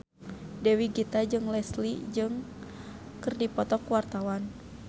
Dewi Gita jeung Leslie Cheung keur dipoto ku wartawan